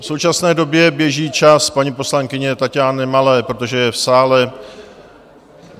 V současné době běží čas paní poslankyni Taťáně Malé, protože je v sále.